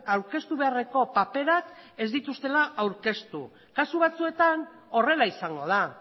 aurkeztu beharreko paperak ez dituztela aurkeztu kasu batzuetan horrela izango da